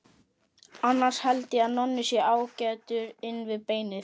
Annars held ég að Nonni sé ágætur inn við beinið.